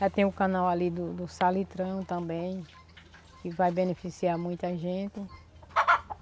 Já tem o canal ali do do Salitrão também, que vai beneficiar muita gente.